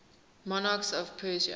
monarchs of persia